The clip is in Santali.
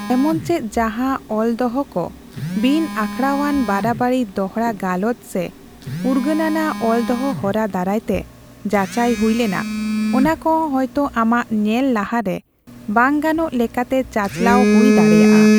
ᱮᱢᱚᱱᱪᱮᱫ ᱡᱟᱦᱟ ᱚᱞᱫᱚᱦᱚ ᱠᱚ ᱵᱤᱱ ᱟᱠᱷᱲᱟᱣᱟᱱ ᱵᱟᱨᱟᱵᱟᱨᱤ ᱫᱚᱲᱦᱟ ᱜᱟᱞᱚᱪ ᱥᱮ ᱩᱨᱜᱟᱹᱱᱟᱱᱟᱜ ᱚᱞᱫᱚᱦᱚ ᱦᱚᱨᱟ ᱫᱟᱨᱟᱭᱛᱮ ᱡᱟᱪᱟᱭ ᱦᱩᱭ ᱞᱮᱱᱟ, ᱚᱱᱟᱠᱚᱦᱚᱸ ᱦᱚᱭᱛᱚ ᱟᱢᱟᱜ ᱧᱮᱞ ᱞᱟᱦᱟᱨᱮ ᱵᱟᱝᱼᱜᱟᱱᱚᱜ ᱞᱮᱠᱟᱛᱮ ᱪᱟᱪᱟᱞᱟᱣ ᱦᱩᱭ ᱫᱟᱲᱮᱭᱟᱜᱼᱟ ᱾